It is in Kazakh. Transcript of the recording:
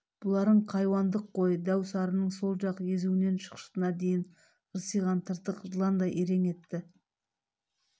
бұларың хайуандық қой дәу сарының сол жақ езуінен шықшытына дейін ырсиған тыртық жыландай ирең етті